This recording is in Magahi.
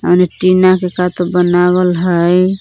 एने टीना के का तो बनावल हइ।